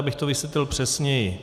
Abych to vysvětlil přesněji.